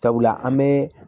Sabula an bɛ